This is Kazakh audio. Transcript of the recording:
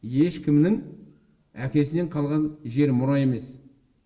ешкімнің әкесінен қалған жер мұра емес